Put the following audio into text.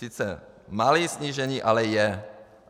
Sice malé snížení, ale je.